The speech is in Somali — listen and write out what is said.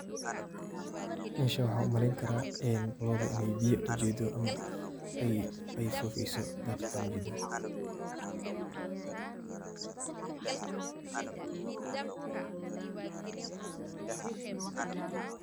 Meeshan waxan u maleeyni karah, eeh lootha Ina beeya u jeedoh amah ay fufeeysoh daqeetan u jeedah.